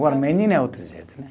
Agora, menina é outro jeito, né?